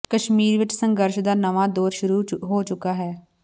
ਕਸ਼ਮੀਰ ਵਿਚ ਸੰਘਰਸ਼ ਦਾ ਨਵਾਂ ਦੌਰ ਸ਼ੁਰੂ ਹੋ ਚੁੱਕਾ ਹੈ